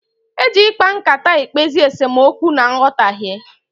Eji ịkpa nkata ekpezi esemookwu na nghọtaghie.